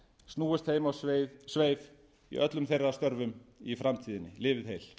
snúist þeim á sveif í öllum þeirra störfum í framtíðinni lifið heil